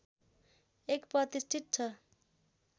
एक प्रतिष्ठित छ